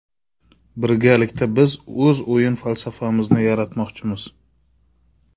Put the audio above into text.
Birgalikda biz o‘z o‘yin falsafamizni yaratmoqchimiz.